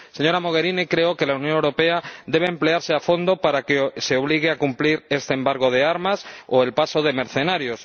Señora Mogherini, creo que la Unión Europea debe emplearse a fondo para que se obligue a cumplir este embargo de armas o el paso de mercenarios